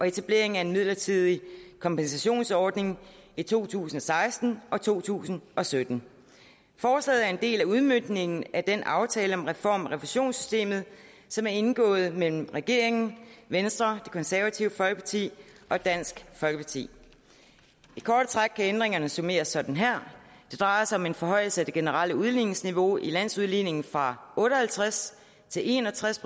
etableres en midlertidig kompensationsordning i to tusind og seksten og to tusind og sytten forslaget er en del af udmøntningen af den aftale om reform af refusionssystemet som er indgået mellem regeringen venstre det konservative folkeparti og dansk folkeparti i korte træk kan ændringerne summeres sådan her det drejer sig om en forhøjelse af det generelle udligningsniveau i landsudligningen fra otte og halvtreds til en og tres